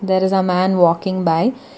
there is a man walking by--